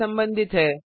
से संबंधित है